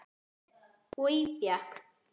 Oj bjakk.